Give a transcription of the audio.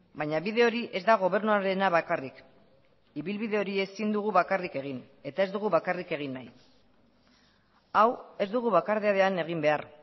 baina bide hori ez da gobernuarena bakarrik ibilbide hori ezin dugu bakarrik egin eta ez dugu bakarrik egin nahi hau ez dugu bakardadean egin behar